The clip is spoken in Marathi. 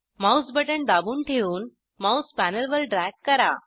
माऊस बटण दाबून ठेऊन माऊस पॅनेलवर ड्रॅग करा